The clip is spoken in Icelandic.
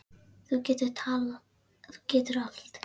Þú getur allt.